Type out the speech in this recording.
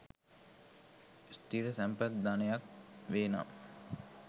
ස්ථිර තැන්පත් ධනයක් වේ නම්